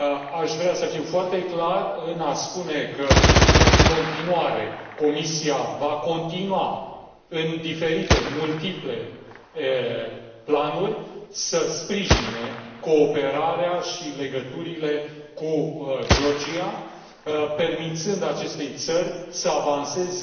Aș vrea să fiu foarte clar în a spune că, în continuare, Comisia va continua în diferite multiple planuri să sprijine cooperarea și legăturile cu Georgia, permițând acestei țări să avanseze,